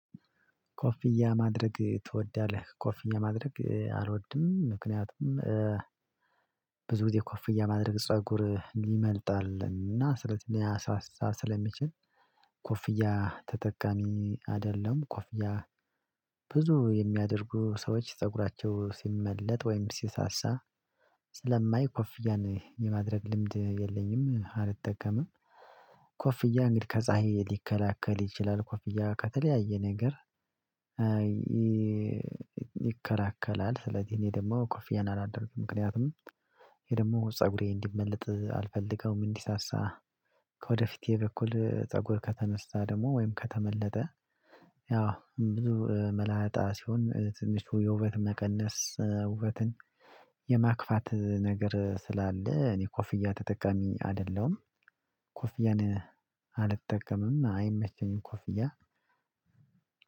ኮፍያ ማድረግ ትወዳለህ? ኮፍያ ማድረግ አልወድም። ምክንያቱም ብዙ ጊዜ ኮፍያ ማድረግ ፀጉር ይመልጣልን እና ሊያሳሳሊያሳሳ ስለሚችል ኮፍያ ተጠቃሚ አይደለም። ኮፍያ ብዙ የሚያደርጉ ሰዎች ፀጉራቸው ሲመለጥ ወይም ሲሳሳ ስለማይ ኮፍያን የማድረግ ልምድ የለኝም። አልጠቀምም ኮፍያ እንግዲህ ከፀሀይ ሊከላከል ይችላል። ኮፍያ ከተለያየ ነገር ይከላከላል ስለዚህ እኔ ደግሞ ኮፊያ አላደረግም ምክንያቱም ይሄ ደግሞ ፀጉሬ እንዲመለጥ አልፈልገውም። እንዲሳሳ ከወደፊት በኩል ፀጉር ከተነሳ ወይም ከተመለጠ። ያው ብዙ መላጣ ሲሆን ትንሽ የውበት መቀነስ ውበትን የማክፋት ነገር ስላለ እኔ ኮፍያ ተጠቃሚ አይደለሁም። ኮፍያን አልጠቀምም አይመቸኝም ኮፍያ።